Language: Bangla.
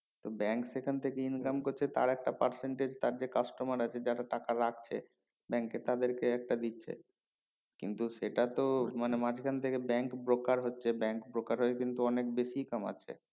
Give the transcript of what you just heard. তো bank সেখান থেকে income করছে আর একটা percentage কাটবে customer আছে যারা টাকা রাখছে bank এ তাদের কে একটা দিচ্ছে কিন্তু সেটা তো মানে মাজখান থেকে bank broker হচ্ছে bank broker হয়ে কিন্তু অনেক বেশি কমছে